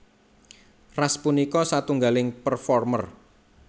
Ras punika satunggaling performer